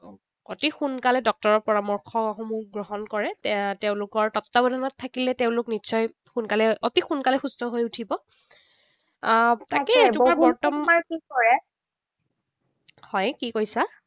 অতি সোনকালে ডক্তৰৰ পৰামৰ্শসমূহ গ্ৰহণ কৰে। তেওঁলোকৰ তত্বাৱধানত থাকিলে তেওঁলোক নিশ্চয় সোনকালে অতি সোনকালে সুস্থ হৈ উঠিব। আহ হয়, কি কৈছা?